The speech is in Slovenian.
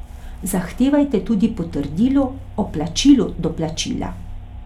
Zahtevajte tudi potrdilo o plačilu doplačila.